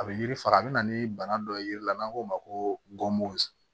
A bɛ yiri fara a bɛ na ni bana dɔ ye n'an k'o ma ko